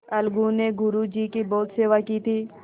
अलगू ने गुरु जी की बहुत सेवा की थी